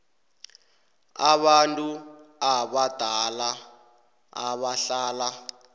abantu abadala abahlala